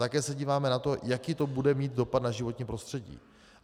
Také se díváme na to, jaký to bude mít dopad na životní prostředí.